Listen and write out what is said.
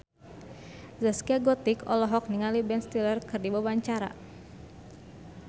Zaskia Gotik olohok ningali Ben Stiller keur diwawancara